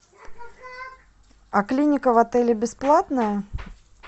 а клиника в отеле бесплатная